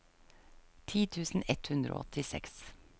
ti tusen ett hundre og åttiseks